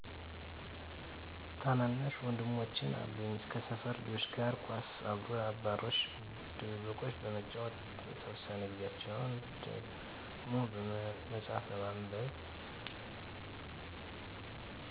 ታናናሽ ወንድሞች አሉኝ ከሰፈር ልጆች ጋር ኳስ አባሮሽ ድብብቆሽ በመጫወት የተወሰነ ጊዛቸውን ደሞ መፅሀፍ በማንበብ